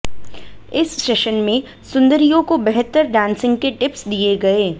इस सेशन में सुंदरियों को बेहतर डांसिंग के टिप्स दिए गए